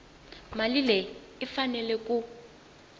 mali leyi yi faneleke ku